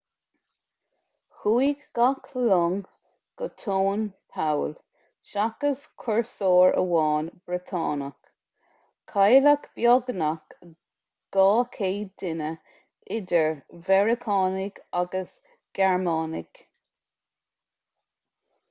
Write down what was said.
chuaigh gach long go tóin poll seachas cúrsóir amháin briotánach cailleadh beagnach 200 duine idir mheiriceánaigh agus ghearmánaigh